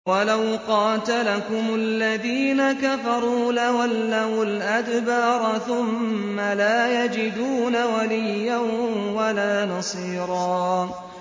وَلَوْ قَاتَلَكُمُ الَّذِينَ كَفَرُوا لَوَلَّوُا الْأَدْبَارَ ثُمَّ لَا يَجِدُونَ وَلِيًّا وَلَا نَصِيرًا